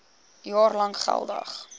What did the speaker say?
jaar lank geldig